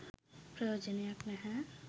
ප්‍රයෝජනයක් නැහැ.